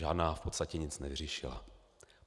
Žádná v podstatě nic nevyřešila.